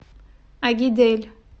агидель